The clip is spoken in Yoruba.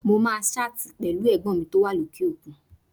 Mo máa ṣáàtì pẹ̀lú Ẹ̀gbọ́n mi tó wà lókè òkun